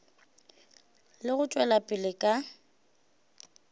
le go tšwela pele ka